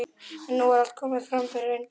En nú er allt komið fram yfir eindaga.